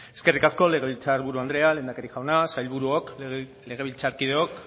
eskerrik asko legebiltzar buru andrea lehendakari jauna sailburuok legebiltzarkideok